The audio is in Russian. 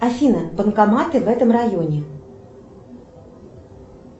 афина банкоматы в этом районе